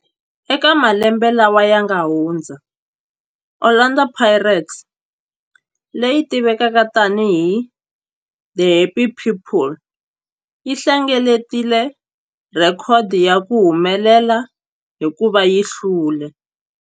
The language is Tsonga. Eka malembe lawa yanga hundza, Orlando Pirates, leyi tivekaka tani hi 'The Happy People', yi hlengeletile rhekhodo ya ku humelela hikuva yi hlule